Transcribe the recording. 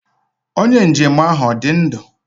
Onye njem ahụ ọ dị ndụ?